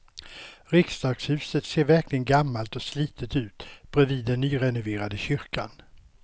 Riksdagshuset ser verkligen gammalt och slitet ut bredvid den nyrenoverade kyrkan.